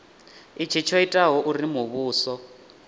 itshi tsho itaho uri muvhuso